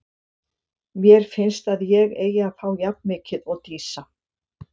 Mér finnst að ég eigi að fá jafn mikið og Dísa.